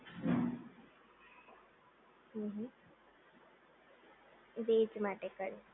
હમ્મ હમ્મ વેજ માટે કર